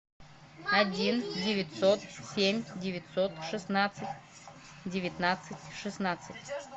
один девятьсот семь девятьсот шестнадцать девятнадцать шестнадцать